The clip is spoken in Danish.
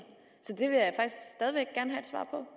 så